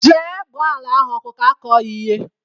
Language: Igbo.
Jee gbaa ala ahụ ọkụ ka akọ ya ihe!